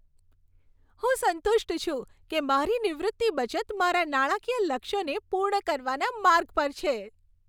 હું સંતુષ્ટ છું કે મારી નિવૃત્તિ બચત મારા નાણાકીય લક્ષ્યોને પૂર્ણ કરવાના માર્ગ પર છે.